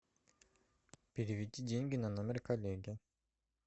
переведи деньги на номер коллеги